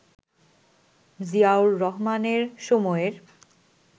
জিয়াউর রহমানের সময়ের